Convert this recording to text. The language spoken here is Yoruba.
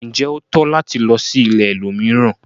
Njé o tọ́ láti lò sí ìlẹ̀ ẹlòmíràn?